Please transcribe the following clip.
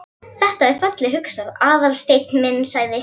Þetta er fallega hugsað, Aðalsteinn minn sagði